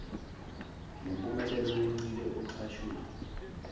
lempumelelo yencike oxhasweni